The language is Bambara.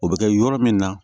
O bɛ kɛ yɔrɔ min na